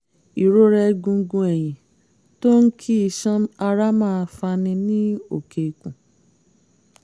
ìrora egungun ẹ̀yìn tó ń kí iṣan ara máa fani ní òkè ikùn